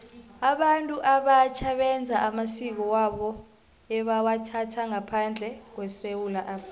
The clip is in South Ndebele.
abantu abatjha beza namasiko wabo ebawathatha ngaphandle kwesewula afrika